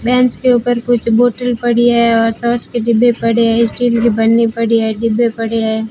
Bench के ऊपर कुछ बॉटल पड़ी है और सास के डिब्बे पड़े हैं स्टील की बर्नी पड़ी है डिब्बे पड़े हैं।